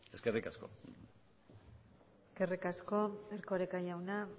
eskerrik asko eskerrik asko erkoreka jauna